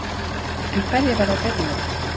En hverjar verða breytingarnar?